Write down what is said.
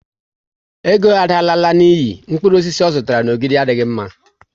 Ego Ada alala n'iyi, mkpụrụ osisi ọ zụtara n'Ogidi adịghị mma